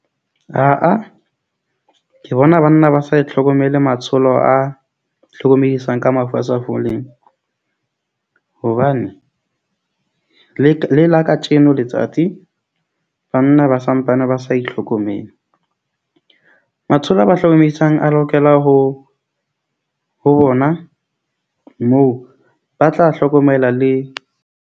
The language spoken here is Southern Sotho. Aa, ke bona banna ba sa e tlhokomele matsholo a hlokomedisang ka mafu a sa foleng hobane le, le la katjeno letsatsi, banna ba santsane ba sa itlhokomele. Matsholo a ba hlokomedisang a lokela ho ho bona moo ba tla hlokomela le.